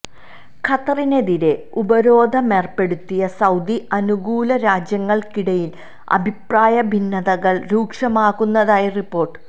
ഖത്തറിനെതിരെ ഉപരോധമേര്പ്പെടുത്തിയ സൌദി അനുകൂല രാജ്യങ്ങള്ക്കിടയില് അഭിപ്രായ ഭിന്നതകള് രൂക്ഷമാകുന്നതായി റിപ്പോര്ട്ട്